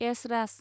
Esraj